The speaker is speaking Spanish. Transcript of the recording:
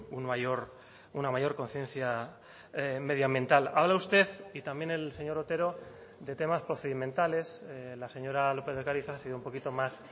un mayor una mayor conciencia medioambiental habla usted y también el señor otero de temas procedimentales la señora lópez de ocariz ha sido un poquito más